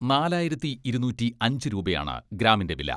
നാലായിരത്തി ഇരുനൂറ്റി അഞ്ച് രൂപയാണ് ഗ്രാമിന്റെ വില.